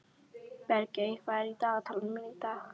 Bergey, hvað er í dagatalinu mínu í dag?